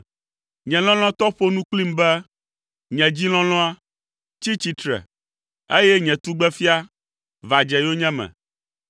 Nye lɔlɔ̃tɔ ƒo nu kplim be, “Nye dzi lɔlɔ̃a, tsi tsitre, eye nye tugbefia, va dze yonyeme.